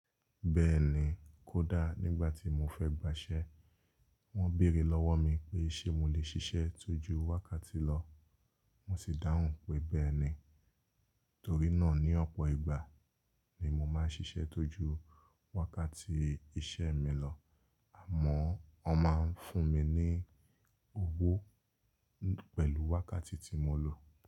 Bẹ́ẹ̀ni, kódà nígbà tí mo fẹ́ gbà iṣẹ, wọ́n béèrè lọ́wọ́ mi pé ṣe mo lè ṣiṣẹ́ tójú wákàtí lọ, mo sì dáhùn pé bẹ́ẹ̀ni. Torí náà ní ọ̀pọ̀ ìgbà ni mo máa ń ṣiṣẹ́ tójú wákàtí iṣẹ́ mi lọ, àmọ́ wọ́n máa ń fún mi ní owó pẹ̀lú wákàtí tí mo ń lò.